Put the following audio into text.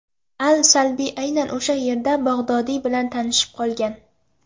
Al-Salbiy aynan o‘sha yerda Bag‘dodiy bilan tanishib qolgan.